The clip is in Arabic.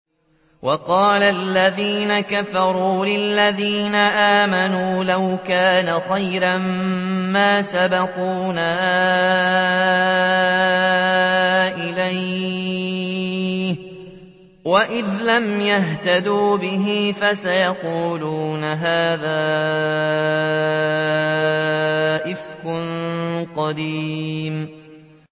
وَقَالَ الَّذِينَ كَفَرُوا لِلَّذِينَ آمَنُوا لَوْ كَانَ خَيْرًا مَّا سَبَقُونَا إِلَيْهِ ۚ وَإِذْ لَمْ يَهْتَدُوا بِهِ فَسَيَقُولُونَ هَٰذَا إِفْكٌ قَدِيمٌ